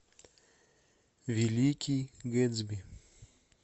великий гэтсби